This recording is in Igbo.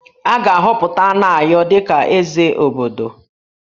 A ga-ahọpụta Anayo dị ka Eze obodo